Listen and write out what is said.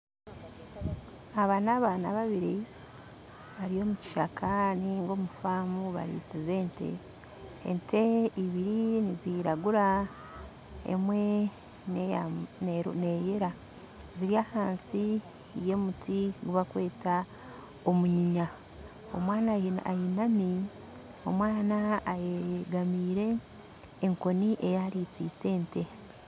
Aba nabaana babiri bari omu kishaka ninga omu faamu barisize ente ente ibiri niziiragura emwe neyera ziri hansi ya omuti ogu bakweta omunyinya omwana ainami omwana ayigamire enkoni eyarisiise ente